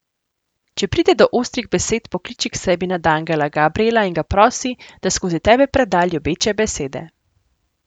Če pride do ostrih besed, pokliči k sebi nadangela Gabrijela in ga prosi, da skozi tebe preda ljubeče besede.